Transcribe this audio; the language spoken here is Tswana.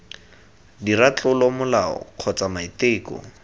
dira tlolo molao kgotsa maiteko